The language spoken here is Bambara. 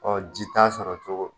Ɔ ji t'a sɔrɔ cogo